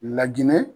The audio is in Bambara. Ladinɛ